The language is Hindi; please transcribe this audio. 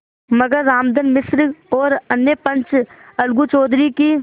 मगर रामधन मिश्र और अन्य पंच अलगू चौधरी की